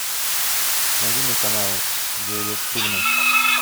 найди мне каналы где идут фильмы